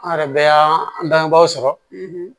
An yɛrɛ bɛ y'an bangebaaw sɔrɔ